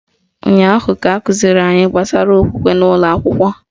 Ụnyaahụ ka akụziri anyị gbasara okwukwe n'ụlọakwụkwọ